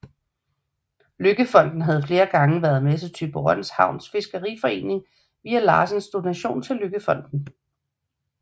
LøkkeFonden havde flere gange været med til Thyborøn Havns Fiskeriforening via Larsens donation til LøkkeFonden